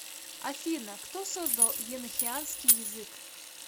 афина кто создал енохианский язык